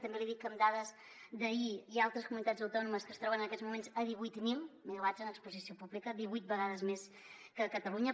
també li dic que amb dades d’ahir hi ha altres comunitats autònomes que es troben en aquests moments a divuit mil megawatts en exposició pública divuit vegades més que catalunya